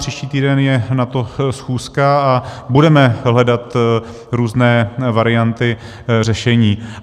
Příští týden je na to schůzka a budeme hledat různé varianty řešení.